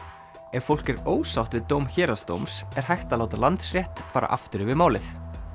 ef fólk er ósátt við dóm héraðsdóms er hægt að láta Landsrétt fara aftur yfir málið